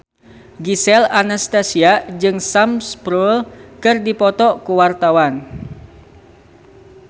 Gisel Anastasia jeung Sam Spruell keur dipoto ku wartawan